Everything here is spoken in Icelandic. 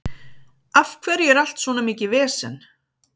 Af hverju er allt svona mikið vesen?